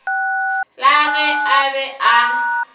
la ge a be a